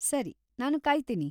ಸರಿ. ನಾನು ಕಾಯ್ತೀನಿ.